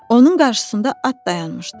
Onun qarşısında at dayanmışdı.